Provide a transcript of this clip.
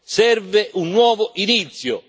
Serve un nuovo inizio.